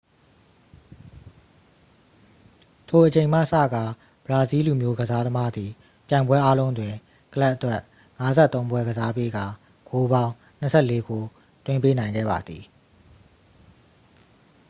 ထိုအချိန်မှစကာ ဘရာဇီးလူမျိုးကစားသမားသည် ပြိုင်ပွဲအားလုံးတွင် ကလပ်အတွက် 53 ပွဲကစားပေးကာ ဂိုးပေါင်း 24 ဂိုး သွင်းပေးနိုင်ခဲ့ပါသည်